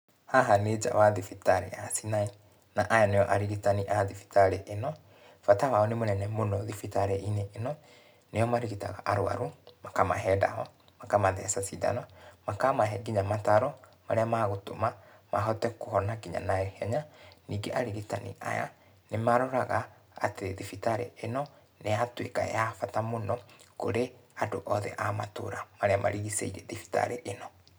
Haha nĩ nja wa thibitarĩ ya Sinai, na aya nĩo arigitani a thibitarĩ ĩno. Bata wao nĩ mũnene mũno thibitarĩ-inĩ ĩno, nĩo marigitaga arũaru, makamahe ndawa, makamatheca cindano, makamahe nginya mataro, marĩa magũtũma, mahote kũhona kinya naihenya, ningĩ arigitani aya nĩmaroraga atĩ thibitarĩ ĩno, nĩyatuĩka ya bata mũno kũrĩ andũ othe a matũra, marĩa marigicĩirie thibitarĩ ĩno.